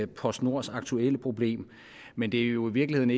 postnords aktuelle problem men det er jo i virkeligheden